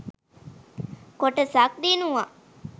කොටසක් දිනුවා.